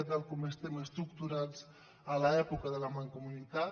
tal com estem estructurats a l’època de la mancomunitat